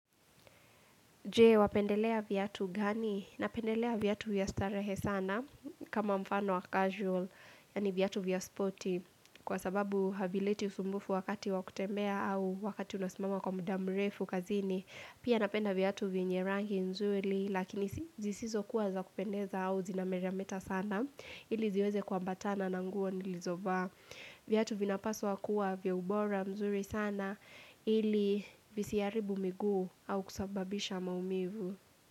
Je, wapendelea viatu gani? Napendelea viatu vya starehe sana kama mfano wa casual, yaani viatu vya spoti kwa sababu havileti usumbufu wakati wa kutembea au wakati unasimama kwa mda mrefu kazini. Pia napenda viatu vyenye rangi nzuri lakini si zisizo kuwa za kupendeza au zinametameta sana. Ili ziweze kuambatana na nguo nilizovaa. Viatu vinapaswa kuwa vya ubora mzuri sana ili visiharibu miguu au kusababisha maumivu.